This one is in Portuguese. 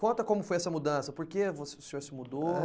Conta como foi essa mudança, por que o senhor se mudou?